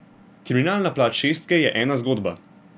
Kriminalna plat šestke je ena zgodba.